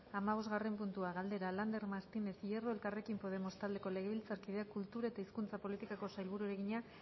hamabostgarren puntua galdera lander martínez hierro elkarrekin podemos taldeko legebiltzarkideak kultura eta hizkuntza politikako sailburuari egina